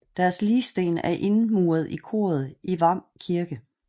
Deres ligsten er indmuret i koret i Hvam Kirke